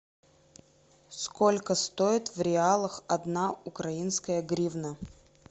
сколько стоит в реалах одна украинская гривна